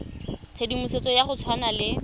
tshedimosetso ya go tshwana le